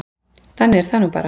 Þannig er það nú bara.